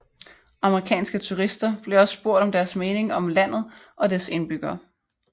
Amerikanske turister bliver også spurgt om deres mening om landet og dets indbyggere